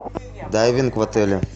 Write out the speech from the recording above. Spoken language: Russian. дайвинг в отеле